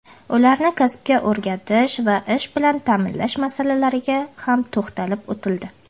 ularni kasbga o‘rgatish va ish bilan ta’minlash masalalariga ham to‘xtalib o‘tildi.